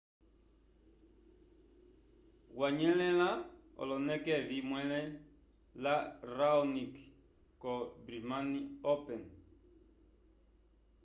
wanyelela oloneke evi mwele la raonic co brismane open